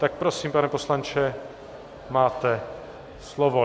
Tak prosím, pane poslanče, máte slovo.